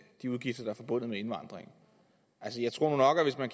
de udgifter der er forbundet med indvandring altså jeg tror nok at hvis man